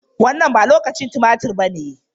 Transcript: Wannan ba lokacin tumatir ba ne.